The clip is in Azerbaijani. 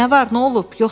Nə var, nə olub?